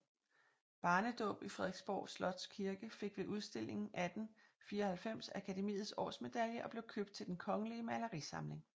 Barnedaab i Frederiksborg Slots Kirke fik ved udstillingen 1894 Akademiets Årsmedalje og blev købt til Den Kongelige Malerisamling